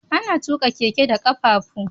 Ana tuka keke da kafafu.